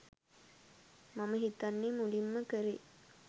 මම හිතන්නේ මුලින්ම කරේ